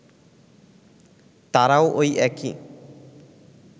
তারাও ওই একই